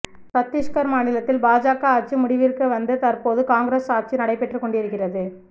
சத்தீஷ்கர் மாநிலத்தில் பாஜக ஆட்சி முடிவிற்கு வந்து தற்போது காங்கிரஸ் ஆட்சி நடைபெற்றுக் கொண்டிருக்கிறது